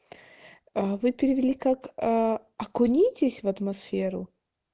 вы перевели как окунитесь в атмосферу